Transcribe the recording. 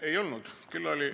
Ei olnud.